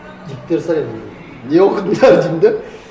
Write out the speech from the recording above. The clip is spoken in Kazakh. жігіттер сұрайды меннен не оқыдыңдар деймін де